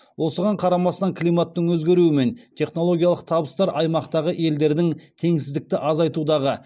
осыған қарамастан климаттың өзгеруі мен технологиялық табыстар аймақтағы елдердің теңсіздікті азайтудағы